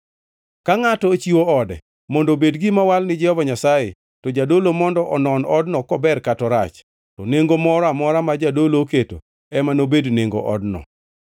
“ ‘Ka ngʼato ochiwo ode mondo obed gima owal ni Jehova Nyasaye, to jadolo mondo onon odno kober kata korach. To nengo moro amora ma jadolo oketo ema nobed nengo odno.